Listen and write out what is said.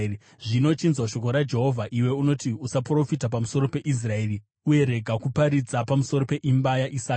Zvino, chinzwa shoko raJehovha. Iwe unoti, “Usaprofita pamusoro paIsraeri, uye rega kuparidza pamusoro peimba yaIsaka.”